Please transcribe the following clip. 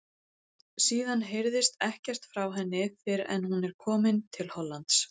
Síðan heyrist ekkert frá henni fyrr en hún er komin til Hollands.